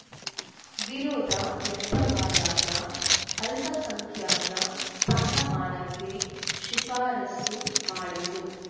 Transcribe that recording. ವಿರೋಧ ವ್ಯಕ್ತವಾದಾಗ ಅಲ್ಪಸಂಖ್ಯಾತ ಸ್ಥಾನಮಾನಕ್ಕೆ ಶಿಫಾರಸ್ಸು ಮಾಡಿತ್ತು